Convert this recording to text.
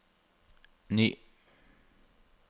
ny